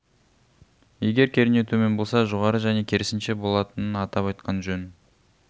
егер кернеу төмен болса жоғары және керісінше болатынын атап айтқан жөн